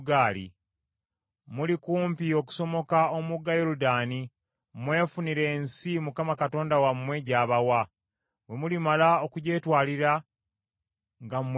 Muli kumpi okusomoka omugga Yoludaani mwefunire ensi Mukama Katonda wammwe gy’abawa. Bwe mulimala okugyetwalira, nga mwe mubeera,